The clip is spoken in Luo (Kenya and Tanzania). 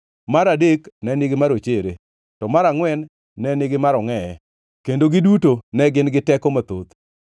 mar adek ne nigi marochere, to mar angʼwen ne nigi marangʼeye, kendo giduto ne gin gi teko mathoth.